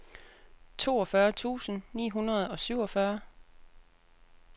toogfyrre tusind ni hundrede og syvogfyrre